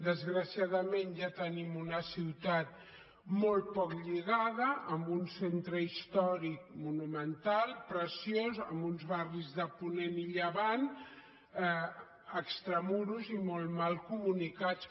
desgraciadament ja tenim una ciutat molt poc lligada amb un centre històric monumental preciós amb uns barris de ponent i llevant extramurs i molt mal comunicats